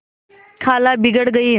खाला बिगड़ गयीं